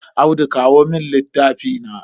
Audu kawo mun littafi na.